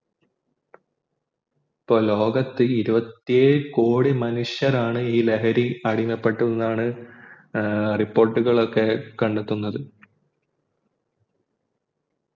ഇപ്പൊ ലോകത്ത് ഇരുവത്തി ഏഴ് കോടി മനുഷ്യരാണ് അടിമപ്പെട്ടു എന്നാണ് ഏർ report ഉകളൊക്കെ കണ്ടെത്തുന്നത്